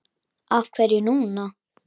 Af hverju núna?